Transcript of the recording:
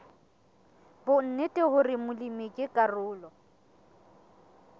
bonnete hore molemi ke karolo